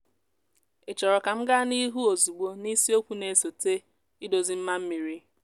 ị chọrọ ka m gaa n’ihu ozugbo na isiokwu na-esote: idozi mma mmiri?